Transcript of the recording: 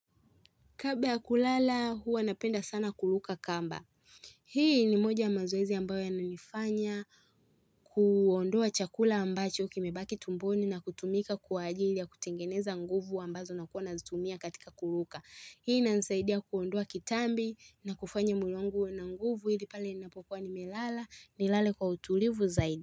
Kabla ya kulala huwa napenda sana kuruka kamba. Hii ni moja ya mazoezi ambayo ya nanifanya kuondoa chakula ambacho kimebaki tumboni na kutumika kwa ajili ya kutengeneza nguvu ambazo nakuwa nazitumia katika kuruka. Hii inasaidia kuondoa kitambi na kufanya mwili wangu uwe na nguvu ili pale ninapokuwa nimelala nilale kwa utulivu zaidi.